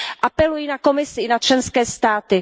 Apeluji na Komisi i na členské státy.